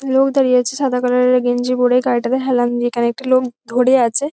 লোক দাড়িয়ে আছে সাদা কালার -এর গেঞ্জি পড়ে গারিটাতে হেলান দিয়ে এখানে একটা লোক ধরে আছে।